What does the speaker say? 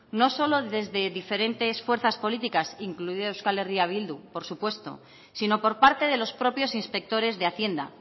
no solo desde diferentes fuerzas políticas incluida euskal herria bildu por supuesto sino por parte de los propios inspectores de hacienda